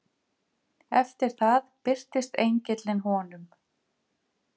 Eftir það birtist engillinn honum.